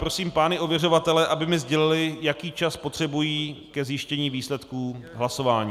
Prosím pány ověřovatele, aby mi sdělili, jaký čas potřebují ke zjištění výsledků hlasování.